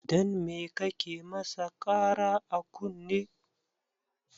Dan me kake masa Kara a kunne?